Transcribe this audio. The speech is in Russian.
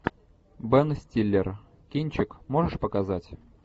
бен стиллер кинчик можешь показать